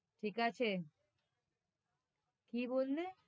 ঠিক আছে কি বললে?